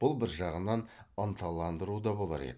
бұл бір жағынан ынталандыру да болар еді